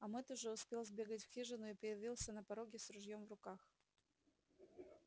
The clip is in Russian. а мэтт уже успел сбегать в хижину и появился на пороге с ружьём в руках